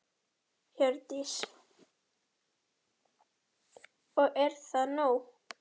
Hjördís: Og er það nóg?